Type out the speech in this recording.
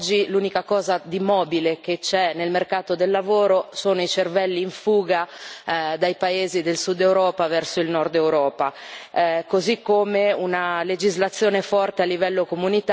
Oggi l'unica cosa di mobile che c'è nel mercato del lavoro sono i cervelli in fuga dai paesi del Sud Europa verso il Nord Europa, così come una legislazione forte a livello europeo.